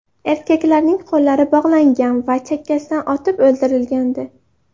Erkaklarning qo‘llari bog‘langan va chakkasidan otib o‘ldirilgandi.